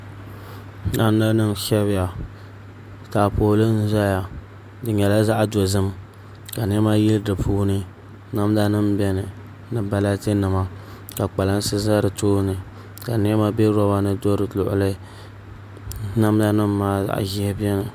Namda nim n shɛbiya taapooli n ʒɛya di nyɛla zaɣ dozim kaniɛma yili di puuni namda nim biɛni ni balati nima ka kpalansi ʒɛ di tooni ka niɛma bɛ roba ni do di luɣuli namda nim maa zaɣ ʒiɛhi biɛni